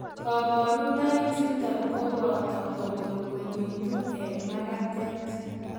Koboruunoichuton koboto kobolbolitu en makatet.